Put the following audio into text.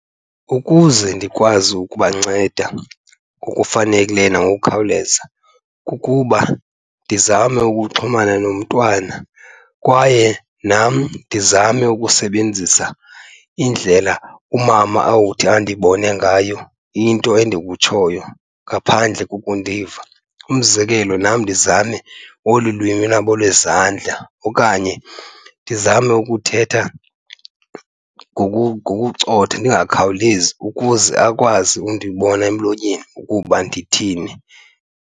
Ukuze ndikwazi ukubanceda ngokufanekileyo nangokukhawuleza kukuba ndizame ukuxhumana nomntwana kwaye nam ndizame ukusebenzisa indlela umama awuthi andibone ngayo into endikutshoyo ngaphandle kokundiva. Umzekelo, nam ndizame olu lwimi lwabo lwezandla okanye ndizame ukuthetha ngokucotha ndingakhawulezi ukuze akwazi undibona emlonyeni ukuba ndithini.